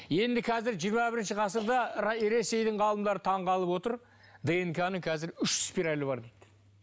енді қазір жиырма бірінші ғасырда ресейдің ғалымдары таңғалып отыр днк ның қазір үш спиралі бар дейді